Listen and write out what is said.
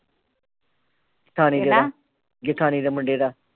ਜੇਠਾਣੀ ਦੇ ਮੁੰਡੇ ਦਾ